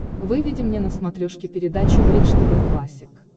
выведи мне на смотрешке передачу бридж тв классик